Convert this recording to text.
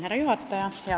Härra juhataja!